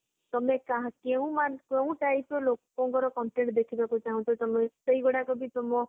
ତମେ କାହା କେଉଁମାନ କେଉଁ type ର ଲୋକଙ୍କର content ଦେଖିବାକୁ ଚାହୁଁଚ ତମେ ସେଇଗୁରକ ବି ତମ